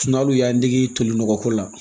hali u y'an dege tolinɔgɔ ko la